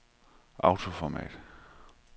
autoformat